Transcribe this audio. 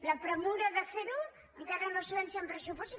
la pressa de fer ho encara no sabem si hi han pressupostos